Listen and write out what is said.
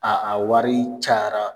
A a wari cayara.